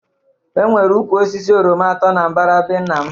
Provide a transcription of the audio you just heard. E nwere ụkwụ osisi oroma atọ na-mbara be nna m